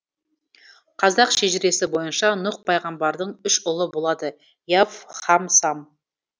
қазақ шежіресі бойынша нұһ пайғамбардың үш ұлы болады и аф һам сам